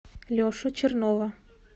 лешу чернова